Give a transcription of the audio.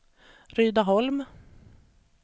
Rydaholm